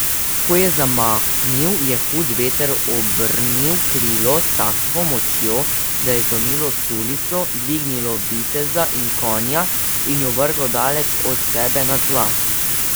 Ko je zamahnil, je hud veter obrnil krilo s tako močjo, da je zlomilo sulico, dvignilo viteza in konja in ju vrglo daleč od sebe na tla.